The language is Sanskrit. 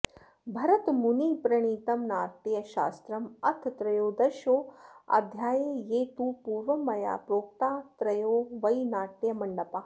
भरतमुनिप्रणीतं नाट्यशास्त्रम् अथ त्रयोदशोऽध्यायः ये तु पूर्वं मया प्रोक्तास्त्रयो वै नाट्यमण्डपाः